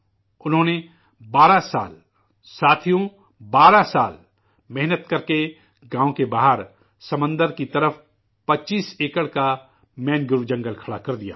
انہوں نے 12 سال، ساتھیوں، 12 سال، محنت کرکے، گاؤں کے باہر، سمندر کی جانب 25 ایکڑ میں مینگروو کا جنگل کھڑا کر دیا